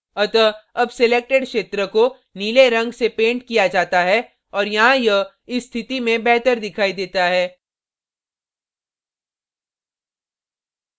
अतः अब selected क्षेत्र को नीले रंग से painted किया जाता है और यहाँ यह इस स्थिति में बेहतर दिखाई देता है